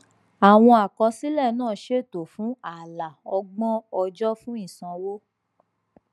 àwọn àkọsílẹ náà ṣètò fún ààlà ọgbọn ọjọ fún ìsanwó